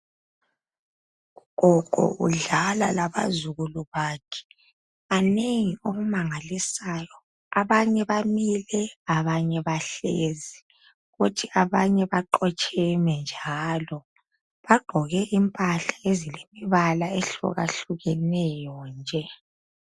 Ugogo udlala labazukulu bakhe, banengi kakhulu okumangalisayo. Abanye bamile, abanye bahlezi kuthi abanye baqotsheme njalo. Bagqoke impahla ezilombala ehlukehlukeneyo nje.